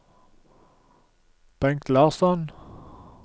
Bengt Larsson